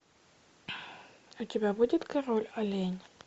у тебя будет король олень